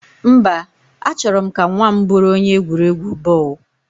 Mba, A chọrọ m ka nwa m bụrụ onye egwuregwu bọọlụ